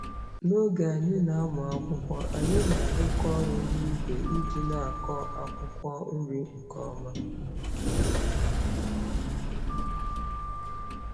N'oge anyị na-amụ akwụkwọ, anyị na-arụkọ ọrụ n'ìgwè iji na-akọ akwụkwọ nri nke ọma.